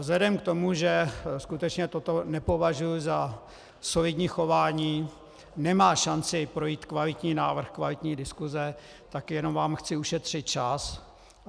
Vzhledem k tomu, že skutečně toto nepovažuji za solidní chování, nemá šanci projít kvalitní návrh, kvalitní diskuse, tak jenom vám chci ušetřit čas.